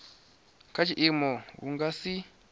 kha tshiimo hu nga si